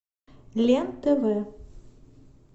лен тв